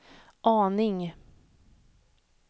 aning